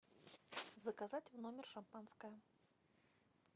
заказать в номер шампанское